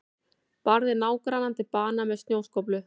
Barði nágrannann til bana með snjóskóflu